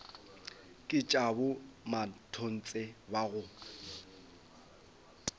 ke tša bomatontshe ba go